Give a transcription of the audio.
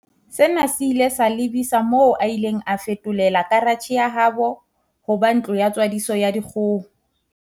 Sena se ile sa lebisa moo a ileng a feto lela karatjhe ya habo ho ba ntlo ya tswadiso ya dikgoho.